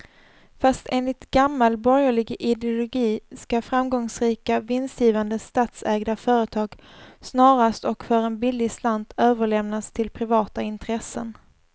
Fast enligt gammal borgerlig ideologi ska framgångsrika, vinstgivande statsägda företag snarast och för en billig slant överlämnas till privata intressen.